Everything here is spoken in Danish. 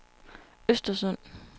Östersund